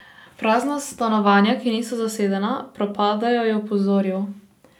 Prazna stanovanja, ki niso zasedena, propadajo, je opozoril.